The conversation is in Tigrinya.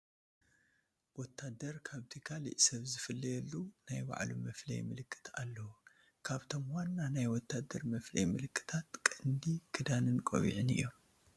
ወታደር ካብቲ ካልእ ሰፍ ዝፍለየሉ ናይ ባዕሉ መፍለዪ ምልክት ኣለዎ፡፡ ካብቶም ዋና ናይ ወታደር መፍለዪ ምልክታት ቀንዲ ክዳንን ቆቢዕ ን እዮም፡፡